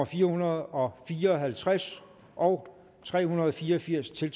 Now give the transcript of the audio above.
fire hundrede og fire og halvtreds og tre hundrede og fire og firs til